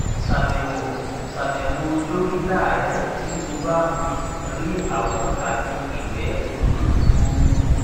ṣàbẹwò dókítà rẹ tí o bá um rí àwọn àmì igbe um gbuuru